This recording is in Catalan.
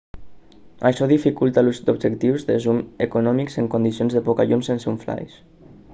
això dificulta l'ús d'objectius de zoom econòmics en condicions de poca llum sense un flaix